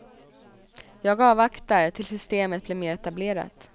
Jag avvaktar tills systemet blir mer etablerat.